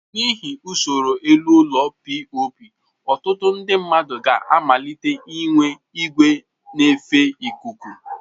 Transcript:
N'ihi usoro elu ụlọ POP, ọtụtụ ndị mmadụ ga amalitee inwe igwe nefe ikuku.